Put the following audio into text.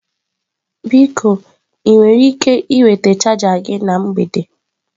Biko ị nwere ike iweta chaja gị na mgbede?